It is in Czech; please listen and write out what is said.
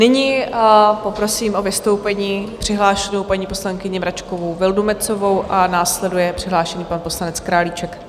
Nyní poprosím o vystoupení přihlášenou paní poslankyni Mračkovou Vildumetzovou a následuje přihlášený pan poslanec Králíček.